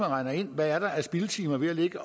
regne ind hvad der er af spildtimer ved